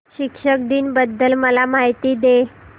शिक्षक दिन बद्दल मला माहिती दे